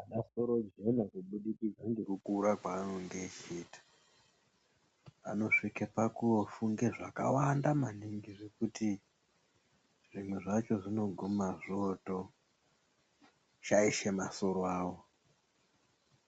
Anasorojena kubudikidza ngekukura kwanonge echiita, vanosvike pakofunge zvakawanda maningi zvokuti zvimwe zvacho zvinoguma zvotoshaishe masoro awo,